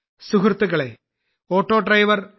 സുഹൃത്തുക്കളേ ഓട്ടോഡ്രൈവർ ശ്രീ